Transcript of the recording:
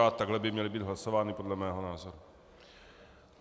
A takhle by měly být hlasovány podle mého názoru.